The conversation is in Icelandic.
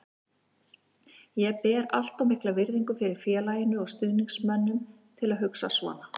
Ég ber allt of mikla virðingu fyrir félaginu og stuðningsmönnunum til að hugsa svona.